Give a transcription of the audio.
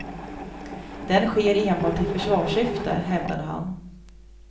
Den sker enbart i försvarssyfte, hävdade han.